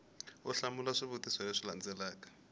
u hlamula swivutiso leswi landzelaka